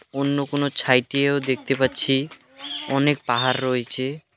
ওন্য কোনো ছাইট -এও দেখতে পাচ্ছি অনেক পাহাড় রয়েচে।